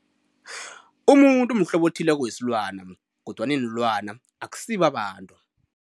Umuntu umhlobo othileko wesilwana kodwana iinlwana akusibo abantu.